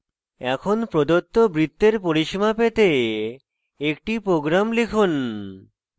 এখন প্রদত্ত বৃত্তের পরিসীমা পেতে একটি program লিখুন